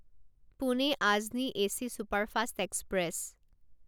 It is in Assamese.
Pune Ajni AC superfast express